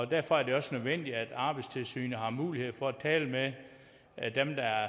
derfor er det også nødvendigt at arbejdstilsynet har mulighed for at tale med dem der